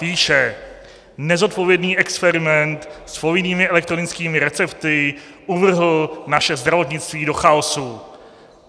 Píše: Nezodpovědný experiment s povinnými elektronickými recepty uvrhl naše zdravotnictví do chaosu.